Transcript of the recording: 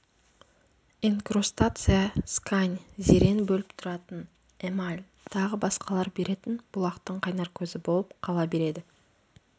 инкрустация скань зерен бөліп тұратын эмаль тағы басқалар беретін бұлақтың қайнар көзі болып қала береді